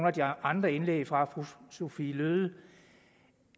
af de andre indlæg fra fru sophie løhde